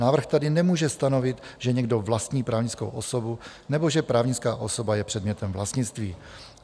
Návrh tady nemůže stanovit, že někdo vlastní právnickou osobu nebo že právnická osoba je předmětem vlastnictví.